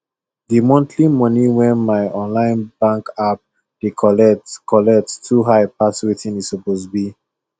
the monthly money wey my online bank app dey collect collect too high pass wetin e suppose be